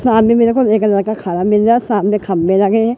सामने मेरे को एक लड़का खड़ा मिल रहा है सामने खम्भे लगे हैं।